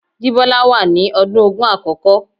Jibola wà ní ọdún ogún àkókò.